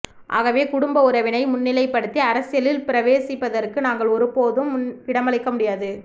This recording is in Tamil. ஆகவே குடும்ப உறவினை முன்னிலைப்படுத்தி அரசியலில் பிரவேசிப்பதற்கு நாங்கள் ஒருபோதும் இடமளிக்க முடியாது